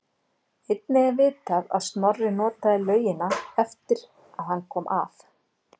Einnig er vitað að Snorri notaði laugina eftir að hann kom að